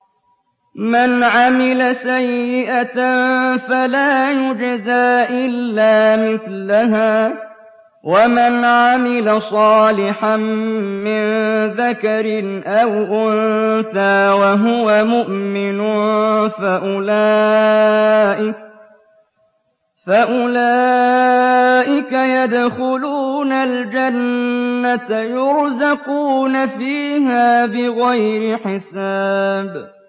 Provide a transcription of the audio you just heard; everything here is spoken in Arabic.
مَنْ عَمِلَ سَيِّئَةً فَلَا يُجْزَىٰ إِلَّا مِثْلَهَا ۖ وَمَنْ عَمِلَ صَالِحًا مِّن ذَكَرٍ أَوْ أُنثَىٰ وَهُوَ مُؤْمِنٌ فَأُولَٰئِكَ يَدْخُلُونَ الْجَنَّةَ يُرْزَقُونَ فِيهَا بِغَيْرِ حِسَابٍ